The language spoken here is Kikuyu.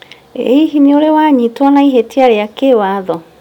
I hihi nĩũrĩ wanyitwo na ihĩtĩa rĩa kĩĩwatho?